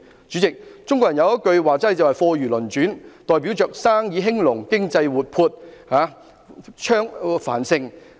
主席，中國人有句說話是"貨如輪轉"，代表着生意興隆，經濟活潑、繁盛。